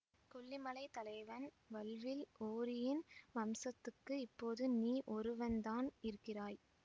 கொல்லிமலைத் தலைவன் வல்வில் ஓரியின் வம்சத்துக்கு இப்போது நீ ஒருவன்தான் இருக்கிறாய்